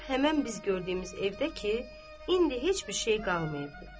Zeynəb həmin biz gördüyümüz evdə ki, indi heç bir şey qalmayıbdır.